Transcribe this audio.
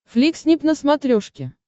фликснип на смотрешке